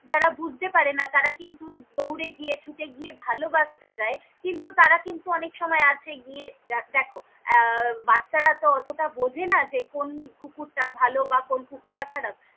যারা বুঝতে পারেনা তারা কিন্তু দউরে গিয়ে ছুটে গিয়ে ভালো বাসতে যায় কিন্তু তারা কিন্তু অনেক সময় কাছে গিয়ে দেখো আহ বাচ্চারা তহ অতটা বোঝে না যে কন কুকুরটা ভালো বা কন কুকুরটা খারাপ।